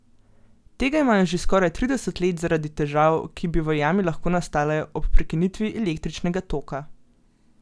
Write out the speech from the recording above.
Tega imajo že skoraj trideset let zaradi težav, ki bi v jami lahko nastale ob prekinitvi električnega toka.